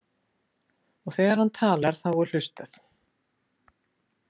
Og þegar hann talar þá er hlustað.